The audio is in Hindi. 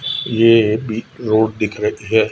ये भी रोड दिख रही है।